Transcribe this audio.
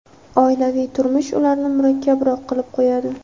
oilaviy turmush ularni murakkabroq qilib qo‘yadi.